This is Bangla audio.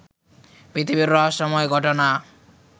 পৃথিবীর রহস্যময় ঘটনা